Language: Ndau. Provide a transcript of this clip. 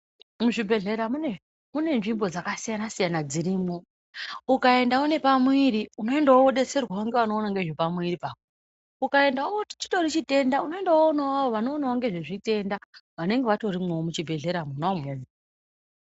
Muzvibhehlera mune nzvimbo dzakasiyanasiyana dzirimwo ukaenda unepamwiri unoendawo wodetserwawo ngeanowona ngezvepamwiri pako ukaendawo chitori chitenda unoendawo wonoonawo vanoonawo ngezvezvitenda vanenge vatori muchibhehlera mwona umwomwo.